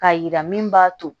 K'a yira min b'a to